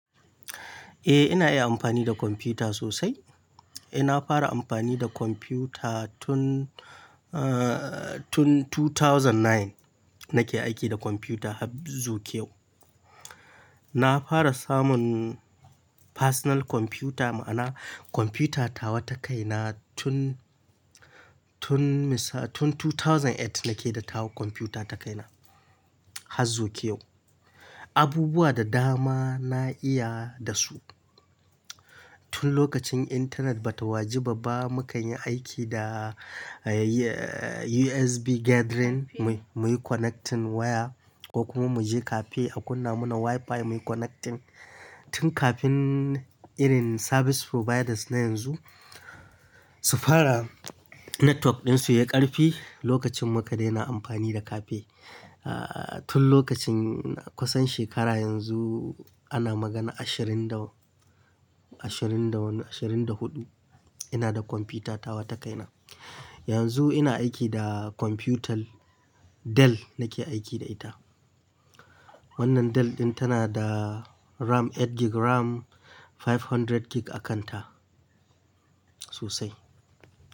Eh ina iya amfani da kwamfuta sosai. Eh na fara amfani da kwamfuta tun, tun 2009 nake aiki da kwamfuta hazuwa yau. Na fara samun personal kwamfuta ma'ana kwamfuta tawa ta kaina tun, tun misa-- tun 2008 nake da tawa kwamfuta ta kaina, hazu kyau. Abubuwa da dama na iya da su. Tun lokacin intanet bata waji ba ba mukan yi aiki da, eh USB gathering muyi connecting waya ko kuma muje cafe a kunna mana WiFi muyi connecting. Tun kafin irin service providers na yanzu su fara network dinsu ya karfi lokacin muka daina amfani da cafe. Ah tun lokacin, kusan shekara yanzu ana magana ashirin da, ashirin da wani, ashirin da huɗu ina da kwamfuta tawa ta kaina. Yanzu ina aiki da kwamfutar Dell nake aiki da ita. Wannan Dell ɗin tana da RAM 8 gb RAM, 500 gb a kanta sosai.